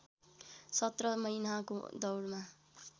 सत्र महिनाको दौडमा